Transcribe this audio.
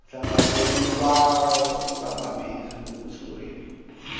hlangano wa vamabindzu wu sungurile